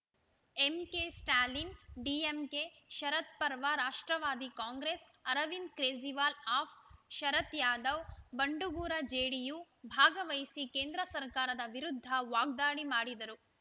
MK Stalin DMK Sharad Pawar ರಾಷ್ಟ್ರವಾದಿ Congress Arvind Kejriwal AAP Sharad Yadav ಬಂಡುಗೂರ JDU ಭಾಗವಹಿಸಿ ಕೇಂದ್ರಸರ್ಕಾರದ ವಿರುದ್ಧ ವಾಗ್ದಾಳಿ ಮಾಡಿದರು